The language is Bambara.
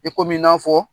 I komi i n'a fɔ